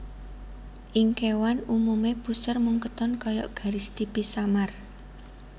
Ing kéwan umumé puser mung katon kaya garis tipis samar